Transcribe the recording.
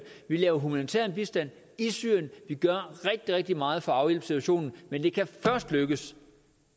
vi laver humanitær bistand i syrien vi gør rigtig rigtig meget for at afhjælpe situationen men det kan først lykkes